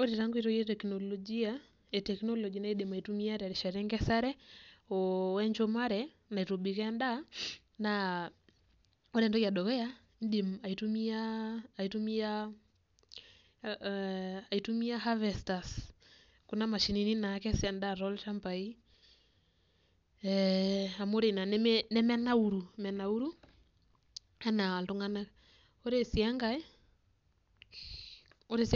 Ore taa inkoitoi eteknologia naidim aitumiya tesaa nkesare wenjumare naitobikooo endaa naa, ore entoki edukuya naa aitumiya harvesters kuna mashinini naakes enda kuku toochambai ee amu ore ina nemenaurru enaa iltunganak. Ore sii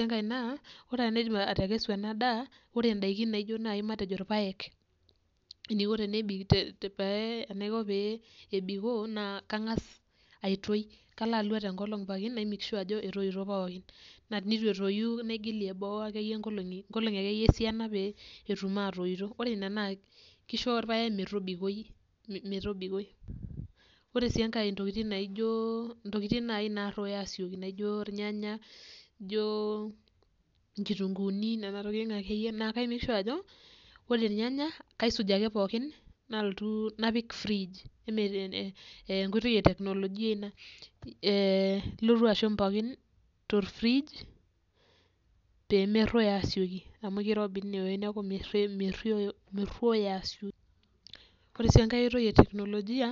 enkae naa kaidim atekesu endaa ore indaikin matejo naai ilpayek, enaiko pee ebikoo naa kangas aitoki, kalo alua pooki tenkolong' naimake sur ajo etoito pookin. Naa enitu etoyu naigilie boo akeyie inkolonki akeyie esiana peetum atoyito. Ore ina naa kisho ilpayek metobikoi. Ore enkae naa intokitin nai nasioki aaruoyo naijo ilnyanya, nijo inkitunguuni nena tokitin akeyie, neeku kaimake shua ajo ore olnyanya kaisuj ake pookin nalotu apik firig amu enkoitoi eteknologia ina elotu ashum pooki te firig peemeruoyo asioki amu kirobi ine woji neeku meruoyo asioki. Ore sii enkae aitoi eteknologia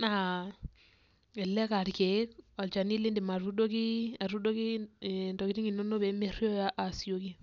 naa kitutum elelek aakeek alchani niidim atuudoki intokitin inono peemeruoyo asioki.